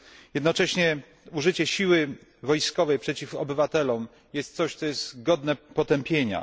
Jednocześnie użycie siły wojskowej przeciw obywatelom jest czymś godnym potępienia.